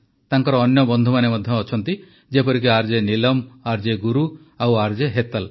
ତାଙ୍କର ଅନ୍ୟ ବନ୍ଧୁମାନେ ମଧ୍ୟ ଅଛନ୍ତି ଯେପରିକି ଆର୍ଜେ ନୀଲମ୍ ଆର୍ଜେ ଗୁରୁ ଓ ଆର୍ଜେ ହେତଲ୍